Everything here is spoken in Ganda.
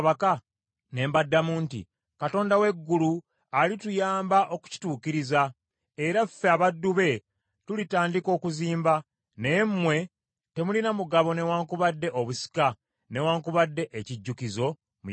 Ne mbaddamu nti, “Katonda w’eggulu alituyamba okukituukiriza, era ffe abaddu be tulitandika okuzimba, naye mmwe temulina mugabo newaakubadde obusika newaakubadde ekijjukizo mu Yerusaalemi.”